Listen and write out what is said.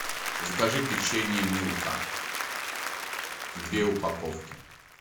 закажи печенье милка две упаковки